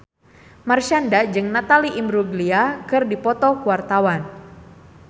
Marshanda jeung Natalie Imbruglia keur dipoto ku wartawan